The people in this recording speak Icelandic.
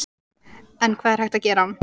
En hvað er hægt að gera?